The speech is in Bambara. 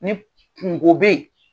Ni k kungo be ye